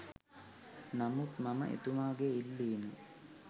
නමුත් මම එතුමාගේ ඉල්ලීම